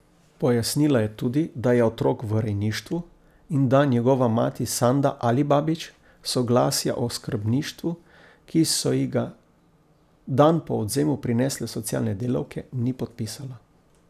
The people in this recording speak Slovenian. Pojasnila je tudi, da je otrok v rejništvu in da njegova mati Sanda Alibabić soglasja o skrbništvu, ki so ji ga dan po odvzemu prinesle socialne delavke, ni podpisala.